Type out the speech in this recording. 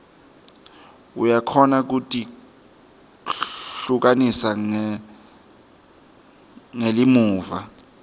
uyakhona kutihlukanisa ngelimuva